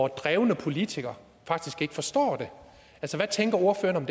drevne politikere faktisk ikke forstår hvad tænker ordføreren